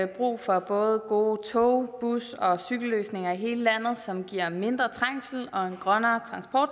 brug for både gode tog bus og cykelløsninger i hele landet som giver mindre trængsel og en grønnere